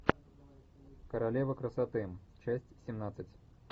королева красоты часть семнадцать